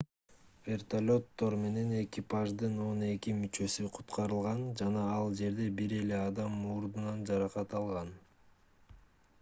вертолеттор менен экипаждын он эки мүчөсү куткарылган жана ал жерде бир эле адам мурдунан жаракат алган